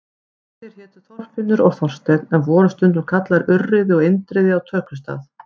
Þeir hétu Þorfinnur og Þorsteinn en voru stundum kallaðir Urriði og Indriði á tökustað.